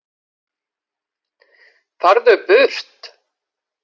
Hér virðist tilviljunin ein hafa verið að verki.